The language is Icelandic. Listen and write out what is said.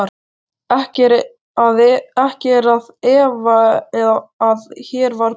Ekki er að efa, að hér var Paul